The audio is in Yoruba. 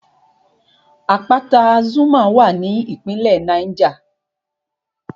Àpáta Zuma wà ní ìpínlẹ̀ Niger